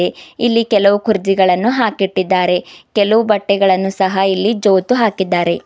ಇಲ್ಲಿ ಕೆಲವು ಕುರ್ಚಿಗಳನ್ನು ಹಾಕಿಟ್ಟಿದ್ದಾರೆ ಕೆಲವು ಬಟ್ಟೆಗಳನ್ನು ಸಹ ಇಲ್ಲಿ ಜೋತು ಹಾಕಿದ್ದಾರೆ.